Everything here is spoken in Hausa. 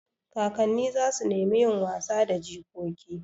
Kakanni za su nemi yin wasa da jikoki.